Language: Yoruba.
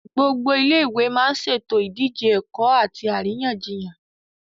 Gbogbo Ilé ìwé má ń ṣètò ìdíje ẹ̀kọ́ àti àríyànjiyàn